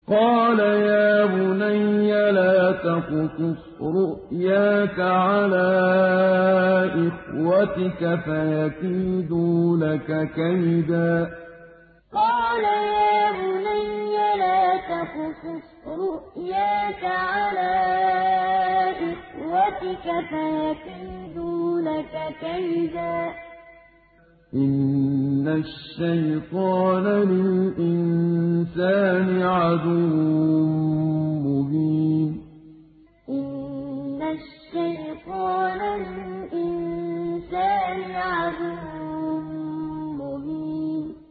قَالَ يَا بُنَيَّ لَا تَقْصُصْ رُؤْيَاكَ عَلَىٰ إِخْوَتِكَ فَيَكِيدُوا لَكَ كَيْدًا ۖ إِنَّ الشَّيْطَانَ لِلْإِنسَانِ عَدُوٌّ مُّبِينٌ قَالَ يَا بُنَيَّ لَا تَقْصُصْ رُؤْيَاكَ عَلَىٰ إِخْوَتِكَ فَيَكِيدُوا لَكَ كَيْدًا ۖ إِنَّ الشَّيْطَانَ لِلْإِنسَانِ عَدُوٌّ مُّبِينٌ